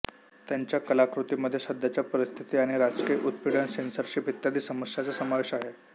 त्याच्या कलाकृतींमध्ये सध्याच्या परिस्थिती आणि राजकीय उत्पीडन सेन्सॉरशिप इत्यादी समस्यांचा समावेश आहे